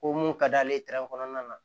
Ko mun ka d'ale ye kɔnɔna na